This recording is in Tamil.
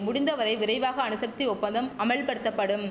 முடிந்த வரை விரைவாக அணுசக்தி ஒப்பந்தம் அமல்படுத்தப்படும்